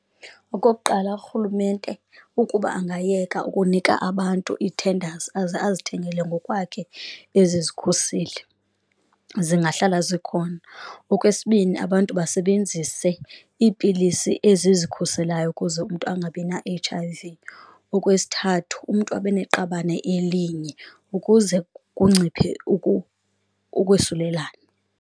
Okokuqala, urhulumente ukuba angayeka ukunika abantu ii-tenders aze azithengele ngokwakhe ezi zikhuseli zingahlala zikhona. Okwesibini, abantu basebenzise iipilisi ezikhuselayo ukuze umntu angabina-H_I_V, okwesithathu umntu abe neqabane elinye ukuze kunciphe ukwesulelana.